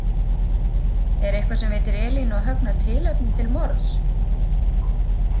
Eitthvað sem veitir Elínu og Högna tilefni til morðs?